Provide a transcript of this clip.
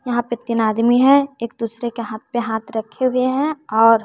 यहां पे तीन आदमी है एक दूसरे के हाथ पे हाथ रखे हुए हैं और--